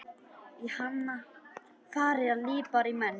Í hana fara liprir menn.